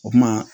O kuma